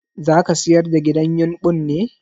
Zaka sayar da gidan yumɓun ne?